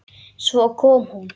Svo kom hún.